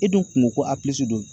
E dun kun ko a don